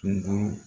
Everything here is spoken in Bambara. Kungo